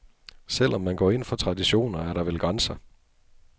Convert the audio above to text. Selv om man går ind for traditioner, er der vel grænser.